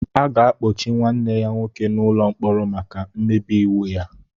A ga-akpọchi nwanne ya nwoke n'ụlọ mkpọrọ maka mmebi iwu ya